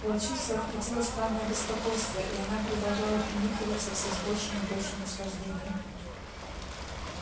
волчицу охватило странное беспокойство и она продолжала принюхиваться всё с большим и большим наслаждением